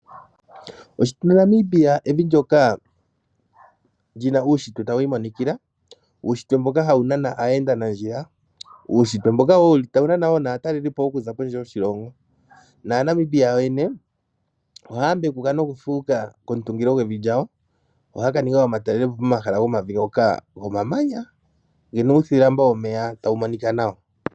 Oshitunda Namibia evi ndyoka li na uushitwe tawu imonikila, uushitwe mboka hawu nana aayendanandjila, uushitwe mboka wo wuli tawu nana wo naatalelipo okuza kondje yoshilongo. Aanamibia yoyene ohaya mbekuka nokufuuka komutungilo gwevi lyawo. Ohaya ka ninga omatalelopo komahala gomavi ngoka gomamanya ge na uuthilambo womeya tawu monika nawa.